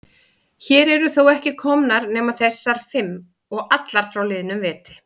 Hér eru þó ekki komnar nema þessar fimm. og allar frá liðnum vetri.